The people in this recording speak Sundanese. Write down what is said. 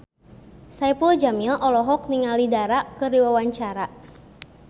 Saipul Jamil olohok ningali Dara keur diwawancara